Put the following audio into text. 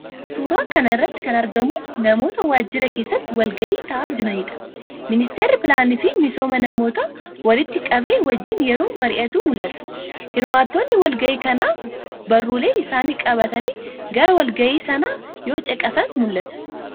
Suuraa kana irratti kan argamu namoota waajjira keessatti walgahii taa'aa jiraniidha. Ministeerri Pilaaniifi Misoomaa namoota walitti qabee wajjin yeroo mari'atu mul'ata. Hirmaattotni walgahii kanaa barruulee isaanii qabatanii gara walgahii sanaa yoo caqasan mul'atu.